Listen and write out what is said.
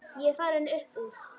Ég er farinn upp úr.